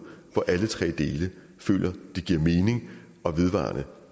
hvor alle tre dele føler det giver mening og vedvarende